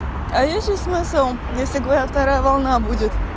а я сейчас свой сон если говорят вторая волна будет